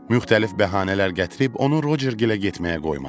Müxtəlif bəhanələr gətirib onu Rocergilə getməyə qoymadım.